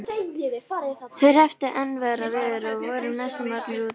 Þeir hrepptu enn verra veður og voru næstum orðnir úti.